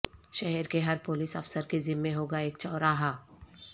شہر کے ہر پولیس افسر کے ذمہ ہوگا ایک چوراہا